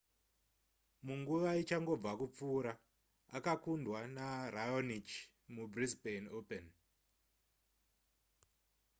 munguva ichangobva kupfuura akakundwa neraonic mubrisbane open